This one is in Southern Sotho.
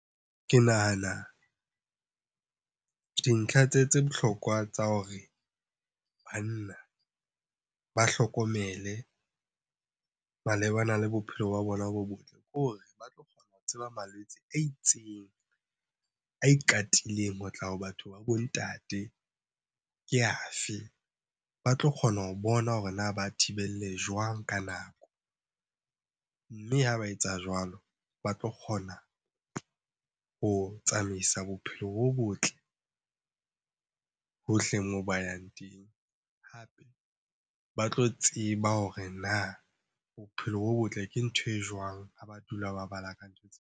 Ke nahana dintlha tse bohlokwa tsa hore banna ba hlokomele malebana le bophelo ba bona bo botle, ke hore ba tseba malwetse a itseng, a ikatileng ho tla ho batho ba bo ntate ke a fe? Ba tlo kgona ho bona hore na ba thibelle jwang ka nako. Mme ha ba etsa jwalo, ba tlo kgona ho tsamaisa bophelo bo botle hohle moo ba yang teng. Ba tlo tseba hore na bophelo bo botle ke ntho e jwang ha ba dula ba bala ka ntho .